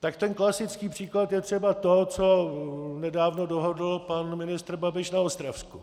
tak ten klasický příklad je třeba to, co nedávno dohodl pan ministr Babiš na Ostravsku.